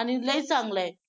आणि लई चांगलं आहे.